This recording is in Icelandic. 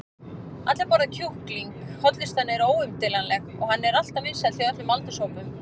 allir borða kjúkling, hollustan er óumdeilanleg og hann er alltaf vinsæll hjá öllum aldurshópum.